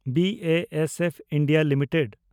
B A S F India limited